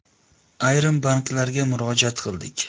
Ayrim banklarga murojaat qildik.